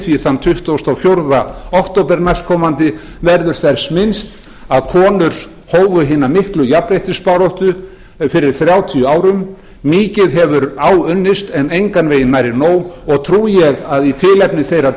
því að þann tuttugasta og fjórða október næstkomandi verður þess minnst að konur hófu hina miklu jafnréttisbaráttu fyrir þrjátíu árum mikið hefur áunnist en engan veginn nærri nóg og trúi ég að í tilefni þeirra